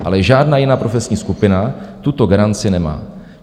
Ale žádná jiná profesní skupina tuto garanci nemá.